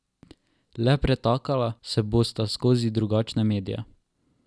Le pretakala se bosta skozi drugačne medije.